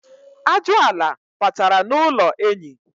Ajụala batara n'ụlọ enyi.